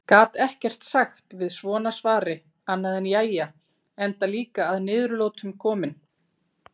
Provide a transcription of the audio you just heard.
Gat ekkert sagt við svona svari annað en jæja enda líka að niðurlotum kominn.